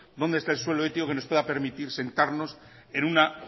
dónde está el suelo ético que nos pueda permitir sentarnos en una